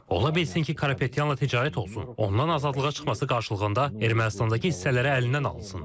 Ola bilsin ki, Karapetyanla ticarət olsun, ondan azadlığa çıxması qarşılığında Ermənistandakı hissələri əlindən alınsın.